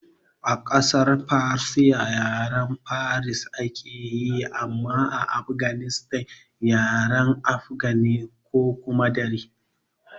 A ƙasar farisa yaren Persia ake yi amma a Afganistan yaren afgan ne ko kuma Dari